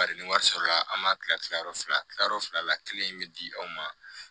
Bari ni wari sɔrɔla an m'a kila kilayɔrɔ fila kilayɔrɔ fila la kelen in mi di anw ma